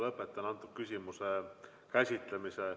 Lõpetan selle küsimuse käsitlemise.